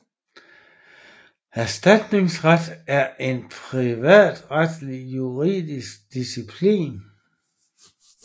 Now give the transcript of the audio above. Erstatningsret er en privatretlig juridisk disciplin